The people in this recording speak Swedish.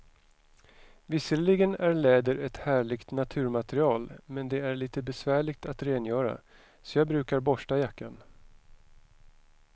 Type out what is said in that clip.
Visserligen är läder ett härligt naturmaterial, men det är lite besvärligt att rengöra, så jag brukar borsta jackan.